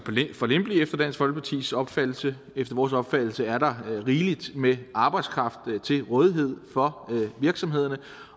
for lempelig efter dansk folkepartis opfattelse efter vores opfattelse er der rigelig med arbejdskraft til rådighed for virksomhederne